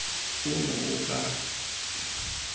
ono o ka ga eng